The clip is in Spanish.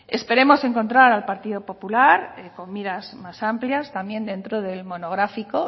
esperemos encontrar al partido popular con miras más amplias también dentro del monográfico